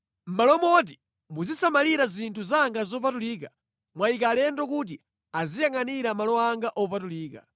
Mʼmalo moti muzisamalira zinthu zanga zopatulika, mwayika alendo kuti aziyangʼanira malo anga opatulika.